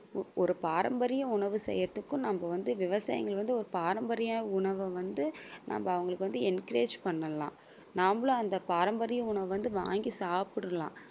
ஒரு பாரம்பரிய உணவு செய்றதுக்கும் நம்ம வந்து விவசாயிகள வந்து ஒரு பாரம்பரிய உணவ வந்து நம்ம அவங்களுக்கு வந்து encourage பண்ணலாம் நம்மளும் அந்த பாரம்பரிய உணவை வாங்கி சாப்பிடலாம்